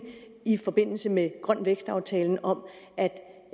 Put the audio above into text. i forbindelse med grøn vækst aftalen om at